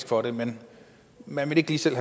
for det men man ville ikke lige selv